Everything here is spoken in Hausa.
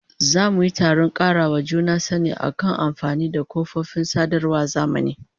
Za mu yi taron karawa juna sani akan amfani da kafofin sadarwar zamani